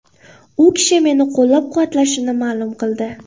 U kishi meni qo‘llab-quvvatlashini ma’lum qildi.